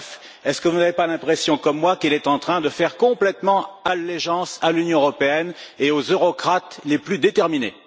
Bref, n'avez vous pas l'impression, comme moi, qu'il est en train de faire complètement allégeance à l'Union européenne et aux eurocrates les plus déterminés?